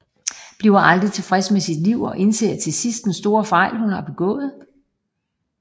Bliver aldrig tilfreds med sit liv og indser til sidst den store fejl hun har begået